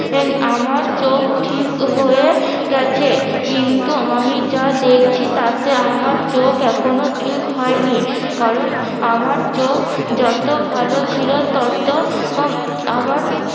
আমার চোখ ঠিক হয়ে গেছে কিন্তু আমি যা দেখছি তাতে আমার চোখ এখনো ঠিক হয় নি কারণ আমার চোখ যত ভালো ছিল তত আমার